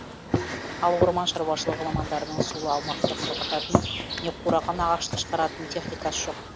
ал орман шаруашылығы мамандарының сулы аумақты құрғататын не қураған ағашты шығаратын техникасы жоқ